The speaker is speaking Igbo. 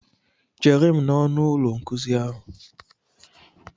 Chere m n'ọnụ ụlọ nkuzi ahụ!